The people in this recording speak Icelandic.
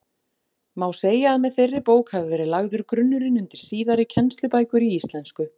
Má segja að með þeirri bók hafi verið lagður grunnurinn undir síðari kennslubækur í íslensku.